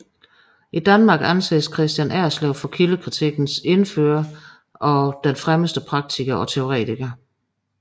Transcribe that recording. I Danmark anses Kristian Erslev for kildekritikkens indfører og fremmeste praktiker og teoretiker